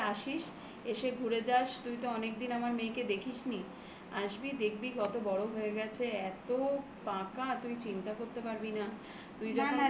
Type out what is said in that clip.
আমাদের বাড়তে আসিস. এসে ঘুরে যাস তুই তো অনেকদিন আমার মেয়েকে দেখিসনি আসবি, দেখবি কত বড় হয়ে গেছে. এত পাকা তুই চিন্তা করতে পারবি না